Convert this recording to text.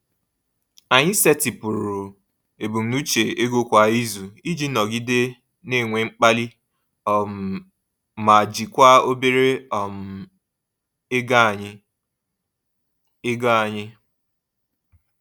Anyị setịpụrụ ebumnuche ego kwa izu iji nọgide na-enwe mkpali um ma jikwaa obere um ego anyị. ego anyị.